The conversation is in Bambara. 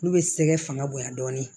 Olu bɛ sɛgɛ fanga bonyan dɔɔnin